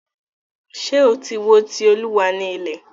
Ṣé o tí wo "Ti Olúwa ni ilẹ̀"?